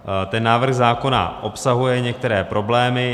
Ten návrh zákona obsahuje některé problémy.